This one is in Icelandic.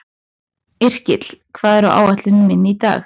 Yrkill, hvað er á áætluninni minni í dag?